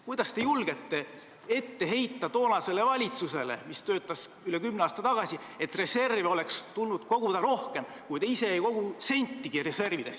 Kuidas te julgete ette heita valitsusele, kes töötas üle kümne aasta tagasi, et reserve oleks tulnud koguda rohkem, kui te ise ei kogu reservidesse sentigi?